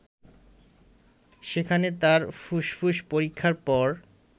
সেখানে তার ফুসফুস পরীক্ষার পর